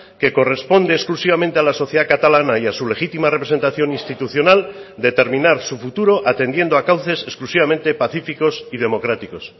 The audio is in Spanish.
que corresponde exclusivamente a la sociedad catalana y a su legítima representación institucional determinar su futuro atendiendo a cauces exclusivamente pacíficos y democráticos